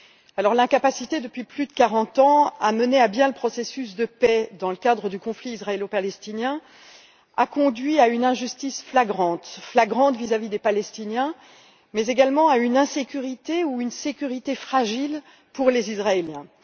Alors, l'incapacité depuis plus de 40 ans à mener à bien le processus de paix dans le cadre du conflit israélo palestinien a conduit à une injustice flagrante vis à vis des Palestiniens mais également à une insécurité ou une sécurité fragile pour les Israéliens.